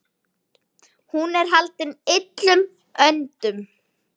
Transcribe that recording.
Hún er haldin illum öndum.